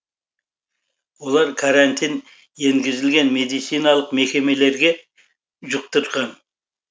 олар карантин енгізілген медициналық мекемелерге жұқтырған